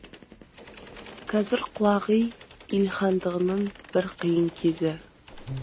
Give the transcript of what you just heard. қазір құлағу илхандығының бір қиын кезі